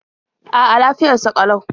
A'a, lafiyar sa ƙalau.